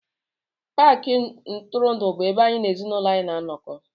Paakị ntụrụndụ bụ ebe anyị na ezinụlọ anyị na-anọkọ